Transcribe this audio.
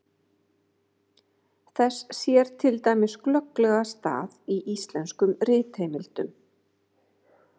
Þess sér til dæmis glögglega stað í íslenskum ritheimildum.